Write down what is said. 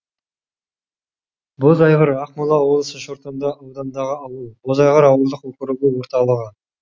бозайғыр ақмола облысы шортанды ауданындағы ауыл бозайғыр ауылдық округі орталығы